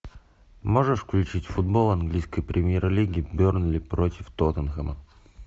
можешь включить футбол английской премьер лиги бернли против тоттенхэма